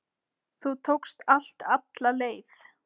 Þú tókst allt alla leið.